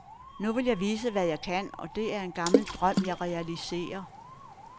Nu vil jeg vise hvad jeg kan, og det er en gammel drøm jeg realiserer.